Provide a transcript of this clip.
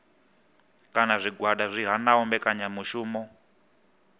kana zwigwada zwi hanaho mbekanyamishumo